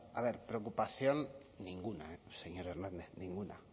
a ver preocupación ninguna señor hernández ninguna